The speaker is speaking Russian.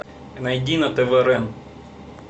найди на тв рен